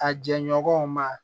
A jɛɲɔgɔnw ma